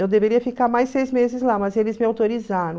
Eu deveria ficar mais seis meses lá, mas eles me autorizaram.